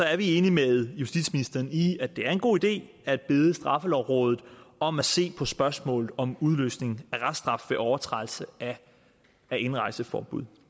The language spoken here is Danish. er vi enige med justitsministeren i at det er en god idé at bede straffelovrådet om at se på spørgsmålet om udløsning af reststraf ved overtrædelse af indrejseforbud